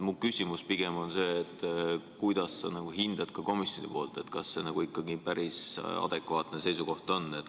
Minu küsimus on pigem see, kuidas sa ikkagi hindad komisjoni poolt, kas see on päris adekvaatne seisukoht?